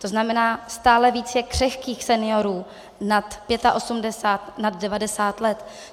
To znamená stále více křehkých seniorů nad 85, nad 90 let.